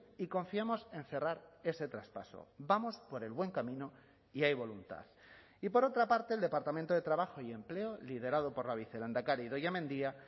y confiamos en cerrar ese traspaso vamos por el buen camino y hay voluntad y por otra parte el departamento de trabajo y empleo liderado por la vicelehendakari idoia mendia